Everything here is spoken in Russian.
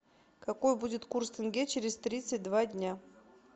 какой будет курс тенге через тридцать два дня